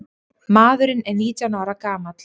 Maðurinn er nítján ára gamall.